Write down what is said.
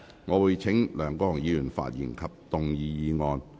我會請梁國雄議員發言及動議議案。